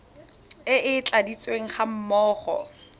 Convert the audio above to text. e e tladitsweng ga mmogo